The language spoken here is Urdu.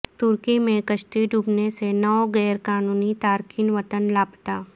ترکی میں کشتی ڈوبنے سے نو غیر قانونی تارکین وطن لاپتہ